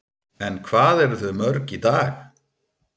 En hvað eru þau mörg í dag?